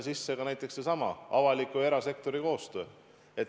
Ma toon ka näiteks sellesama avaliku ja erasektori koostöö.